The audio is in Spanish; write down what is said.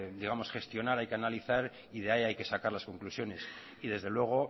gestionar hay que analizar y de ahí hay que sacar las conclusiones y desde luego